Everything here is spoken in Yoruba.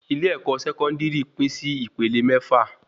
ilé-ẹ̀kọ́ Sẹkọndiri Pin Si ìpele mẹ́fà